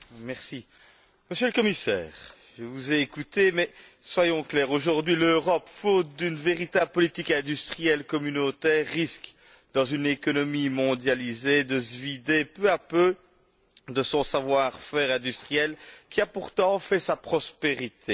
Madame la Présidente, Monsieur le Commissaire, je vous ai écouté, mais soyons clairs aujourd'hui, l'Europe, faute d'une véritable politique industrielle communautaire risque, dans une économie mondialisée, de se vider peu à peu de son savoir faire industriel, qui a pourtant fait sa prospérité.